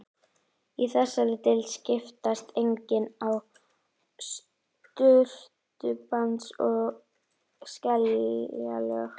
Í þessari deild skiptast einnig á surtarbrands- og skeljalög.